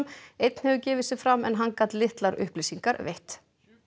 einn hefur gefið sig fram en hann gat litlar upplýsingar veitt